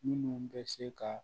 Minnu bɛ se ka